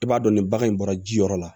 I b'a dɔn ni bagan in bɔra ji yɔrɔ la